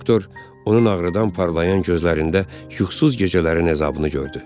Doktor onun ağrıdan parlayan gözlərində yuxusuz gecələrin əzabını gördü.